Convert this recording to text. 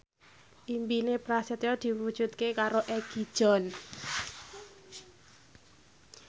impine Prasetyo diwujudke karo Egi John